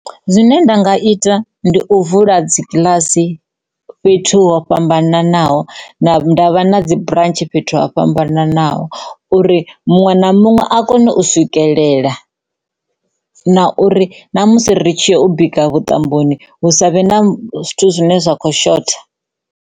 Zwine nda nga ita ndi u vula dzikiḽasi fhethu ho fhambananaho nda vha na dzu burantshi fhethu ho fhambananaho uri muṅwe na muṅwe a kone u swikelela na uri na musi ri tshi ya u bika vhuṱamboni hu sa vhe na zwithu zwine zwa kho shotha.